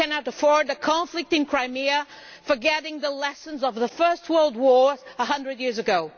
We cannot afford a conflict in Crimea, forgetting the lessons of the First World War a hundred years ago.